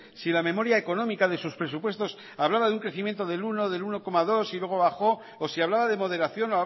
si la memoria económica de sus presupuestos hablaba de un crecimiento del uno del uno coma dos y luego bajó o si hablaba de moderación